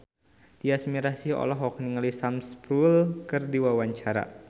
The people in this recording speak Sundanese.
Tyas Mirasih olohok ningali Sam Spruell keur diwawancara